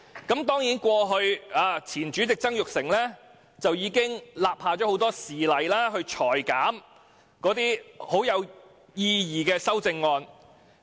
當然，前主席曾鈺成過去已立下多個先例，裁減有意義的修正案。